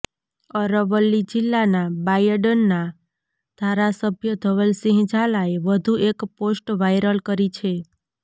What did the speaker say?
અરવલ્લી જિલ્લાના બાયડના ધારાસભ્ય ધવલસિંહ ઝાલાએ વધુ એક પોસ્ટ વાઇરલ કરી છે